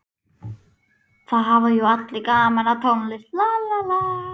Það hafa jú allir gaman af tónlist.